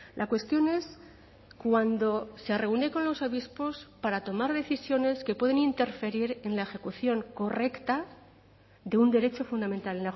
la cuestión es cuando se reúne con los obispos para tomar decisiones que pueden interferir en la ejecución correcta de un derecho fundamental